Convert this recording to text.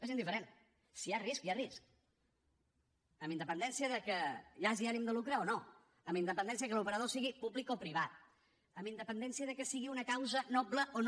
és indiferent si hi ha risc hi ha risc amb independència del fet que hi hagi ànim de lucre o no amb independència que l’operador sigui públic o privat amb independència que sigui una causa noble o no